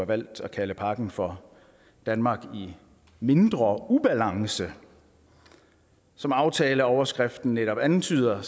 valgt at kalde pakken for danmark i mindre ubalance som aftaleoverskriften netop antyder